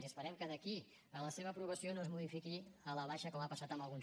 i esperem que d’aquí a la seva aprovació no es modifiqui a la baixa com ha passat en alguns